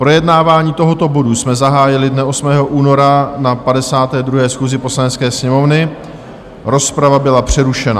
Projednávání tohoto bodu jsme zahájili dne 8. února na 52. schůzi Poslanecké sněmovny, rozprava byla přerušena.